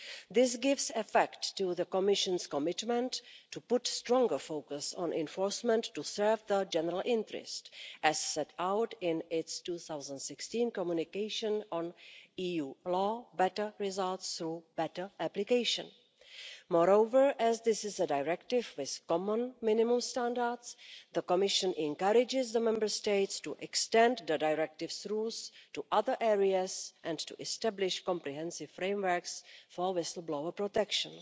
This gives effect to the Commission's commitment to put stronger focus on enforcement to serve the general interest, as set out in its 2016 Communication on EU law Better results through better application. Moreover, as this is a directive with common minimum standards, the Commission encourages the Member States to extend the directive's rules to other areas and to establish comprehensive frameworks for whistle blower protection.